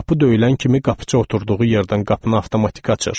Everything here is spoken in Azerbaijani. Qapı döyülən kimi qapıçı oturduğu yerdən qapını avtomatik açır.